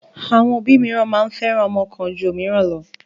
Àwọn òbí mìíràn máa ń fẹ́ràn ọmọ kan ju òmíràn lọ.